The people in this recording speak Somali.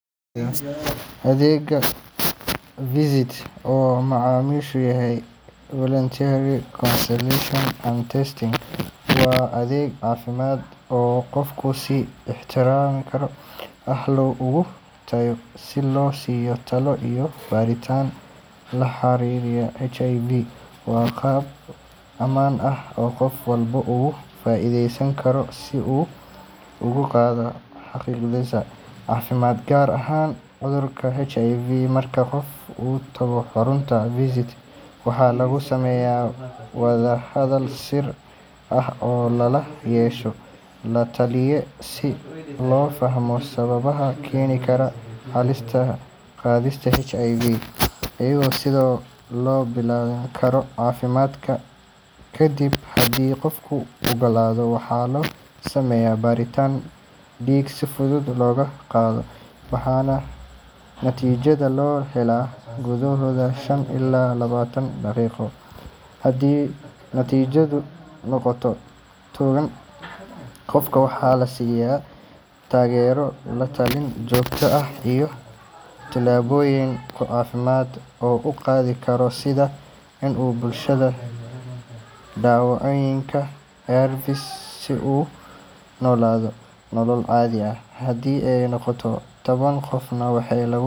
Adeegga VCT oo macnihiisu yahay Voluntary Counseling and Testing, waa adeeg caafimaad oo qofku si ikhtiyaari ah ugu tago si loo siiyo talo iyo baaritaan la xiriira HIV. Waa hab ammaan ah oo qof walba uga faa’iidaysan karo si uu u ogaado xaaladdiisa caafimaad, gaar ahaan cudurka HIV. Marka qof uu tago xarunta VCT, waxaa lagu sameeyaa wada hadal sir ah oo lala yeesho la-taliye si loo fahmo sababaha keeni kara halista qaadista HIV iyo sida loo ilaalin karo caafimaadka. Kadib, haddii qofku ogolaado, waxaa la sameeyaa baaritaan dhiig si fudud looga qaado, waxaana natiijada la helaa gudahood shan ilaa toban daqiiqo. Haddii natiijadu noqoto togan, qofka waxaa la siiyaa taageero, la-talin joogto ah, iyo tillaabooyin caafimaad oo uu qaadi karo sida in uu bilaabo daawooyinka ARVs si uu u noolaado nolol caadi ah. Haddii ay noqoto taban, qofka waxaa lagu.